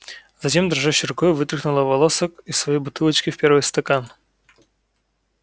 затем дрожащей рукой вытряхнула волосок из своей бутылочки в первый стакан